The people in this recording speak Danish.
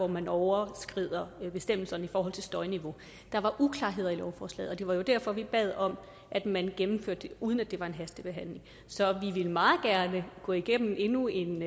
man overskrider bestemmelserne om støjniveau der var uklarheder i lovforslaget og det var jo derfor at vi bad om at man gennemførte det uden at det var en hastebehandling så vi vil meget gerne gå igennem endnu en